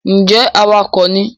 ǹjẹ́ awakọ̀ ni?